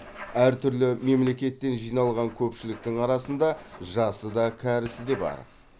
әртүрлі мемлекеттен жиналған көпшіліктің арасында жасы да кәрісі де бар